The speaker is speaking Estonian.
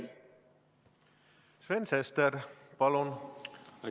Sven Sester, palun!